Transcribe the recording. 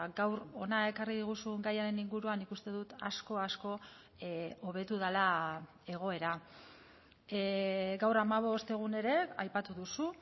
gaur hona ekarri diguzun gaiaren inguruan nik uste dut asko asko hobetu dela egoera gaur hamabost egun ere aipatu duzu